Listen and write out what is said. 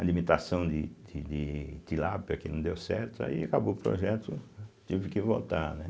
alimentação de de de de Tilápia que não deu certo, aí acabou o projeto, tive que voltar, né.